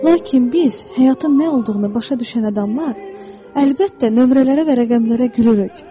Lakin biz, həyatın nə olduğunu başa düşən adamlar, əlbəttə nömrələrə və rəqəmlərə gülürük.